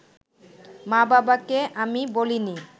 মা-বাবাকে আমি বলিনি